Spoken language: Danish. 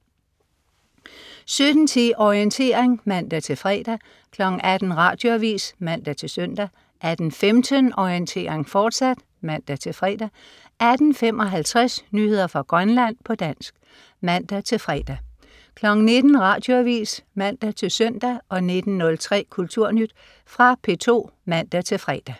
17.10 Orientering (man-fre) 18.00 Radioavis (man-søn) 18.15 Orientering, fortsat (man-fre) 18.55 Nyheder fra Grønland, på dansk (man-fre) 19.00 Radioavis (man-søn) 19.03 Kulturnyt. Fra P2 (man-fre)